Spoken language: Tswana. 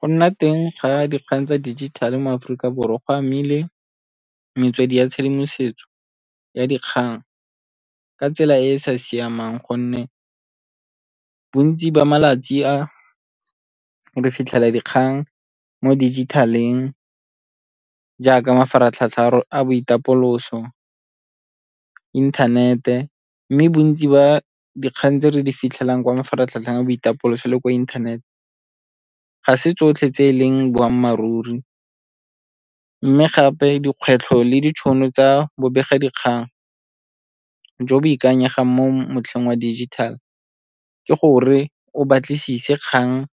Go nna teng ga dikgang tsa dijithale mo Aforika Borwa go amile metswedi ya tshedimosetso ya dikgang ka tsela e e sa siamang gonne bontsi ba malatsi a re fitlhela dikgang mo digital-eng jaaka mafaratlhatlha a boitapoloso, inthanete. Mme bontsi ba dikgang tse re di fitlhelang kwa mafaratlhatlha a boitapoloso le ko inthanete ga se tsotlhe tse e leng boammaaruri, mme gape dikgwetlho le ditšhono tsa bobega dikgang jo bo ikanyegang mo motlheng wa dijithale ka gore o batlisise kgang